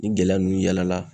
Ni gɛlɛya nunnu yala